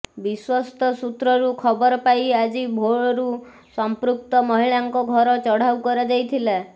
ବିଶ୍ବସ୍ତ ସୂତ୍ରରୁ ଖବର ପାଇ ଆଜି ଭୋରରୁ ସମ୍ପୃକ୍ତ ମହିଳାଙ୍କ ଘର ଚଢାଉ କରଯାଇଥିଲା